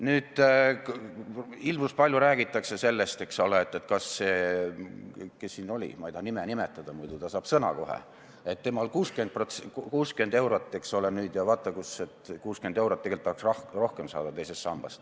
Nüüd, hirmus palju räägitakse sellest, eks ole – kes see meil siin oli, ma ei taha tema nime nimetada, muidu saab ta kohe sõna, ütles, et tema saab 60 eurot ja vaata kus, et ainult 60 eurot –, et teisest sambast tahetaks rohkem saada.